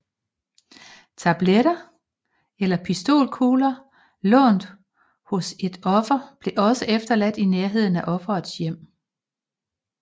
Tabletter eller pistolkugler stjålet hos et offer blev også efterladt i nærheden af offerets hjem